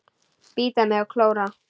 Bíta mig og klóra.